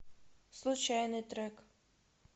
случайный трек